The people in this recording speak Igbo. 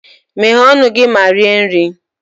Meghee ọnụ gị ma rie nri!